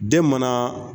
Den mana